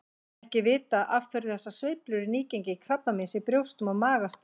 Ekki er vitað af hverju þessar sveiflur í nýgengi krabbameins í brjóstum og maga stafa.